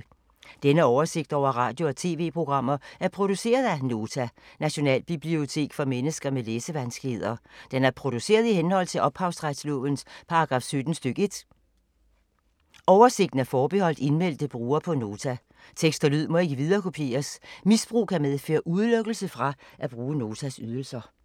Denne oversigt over radio og TV-programmer er produceret af Nota, Nationalbibliotek for mennesker med læsevanskeligheder. Den er produceret i henhold til ophavsretslovens paragraf 17 stk. 1. Oversigten er forbeholdt indmeldte brugere på Nota. Tekst og lyd må ikke viderekopieres. Misbrug kan medføre udelukkelse fra at bruge Notas ydelser.